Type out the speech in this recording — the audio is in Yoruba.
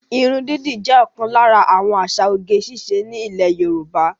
Ìrún didì jẹ́ òkan lára àwọn àsà òge-ìṣe ni Ilè Yorùbá.